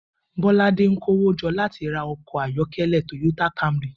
Bóládé ń kó owó jo̩ láti ra o̩kò̩ ayó̩ké̩lé̩ Toyota Camry